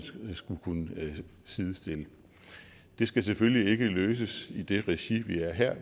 skulle kunne sidestille det skal selvfølgelig ikke løses i det regi vi er i her